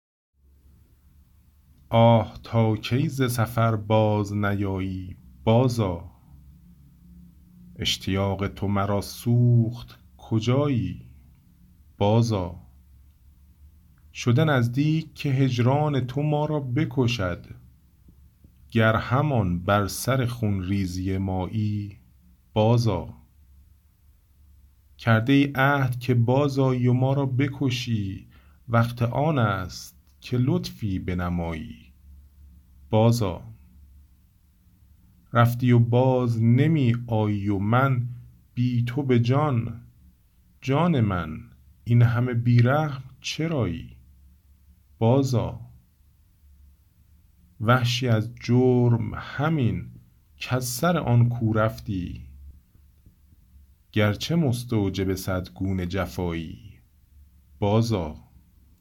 آه تا کی ز سفر باز نیایی بازآ اشتیاق تو مرا سوخت کجایی بازآ شده نزدیک که هجران تو ما را بکشد گر همان بر سر خونریزی مایی بازآ کرده ای عهد که بازآیی و ما را بکشی وقت آنست که لطفی بنمایی بازآ رفتی و باز نمی آیی و من بی تو به جان جان من اینهمه بی رحم چرایی بازآ وحشی از جرم همین کز سر آن کو رفتی گرچه مستوجب صد گونه جفایی بازآ